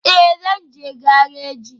Ee, zan je gareji